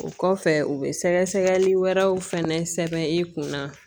O kɔfɛ u bɛ sɛgɛsɛgɛli wɛrɛw fana sɛbɛn i kunna